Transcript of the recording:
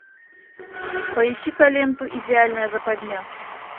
поищи ка ленту идеальная западня